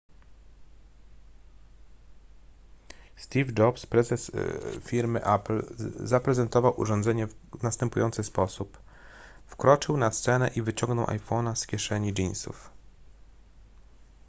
steve jobs prezes firmy apple zaprezentował urządzenie w następujący sposób wkroczył na scenę i wyciągnął iphone'a z kieszeni jeansów